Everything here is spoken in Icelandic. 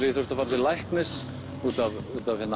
ég þurfti að fara til læknis út af